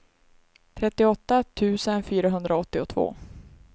trettioåtta tusen fyrahundraåttiotvå